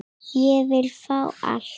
Ég vil fá allt.